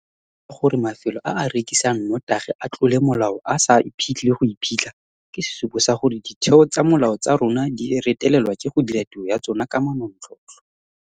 Setlwaedi seno sa gore mafelo a a rekisang notagi a tlole molao a sa iphetlhe le go iphitlha ke sesupo sa gore ditheo tsa molao tsa rona di retelelwa ke go dira tiro ya tsona ka manontlhotlho.